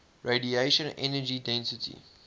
radiation energy density